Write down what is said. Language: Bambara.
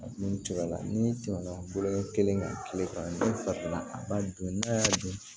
N'u cor'ala ni tɛmɛna bolo kɛ kelen kan kile kɔnɔ n'i fatina a b'a dun n'a y'a dun